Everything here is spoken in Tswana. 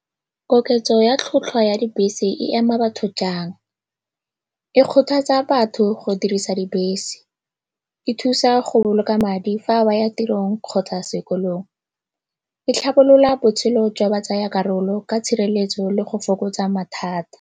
Koketso ya tlhwatlhwa ya dibese e ama batho jang? E kgothatsa batho go dirisa dibese, e thusa go boloka madi fa ba ya tirong kgotsa sekolong, e tlhabolola botshelo jwa batsayakarolo ka tshireletso le go fokotsa mathata.